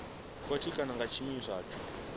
khothe kana nga tshiimiswa tsho